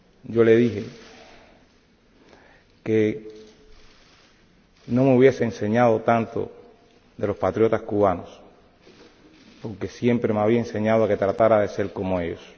Yo le dije que no me hubiese enseñado tanto de los patriotas cubanos, porque siempre me había enseñado que tratara de ser como ellos.